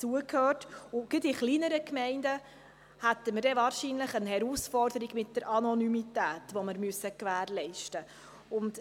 Gerade in kleineren Gemeinden hätten wir dann wahrscheinlich eine Herausforderung mit der Anonymität, welche wir gewährleisten müssen.